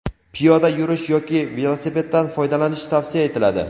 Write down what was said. piyoda yurish yoki velosipeddan foydalanish tavsiya etiladi.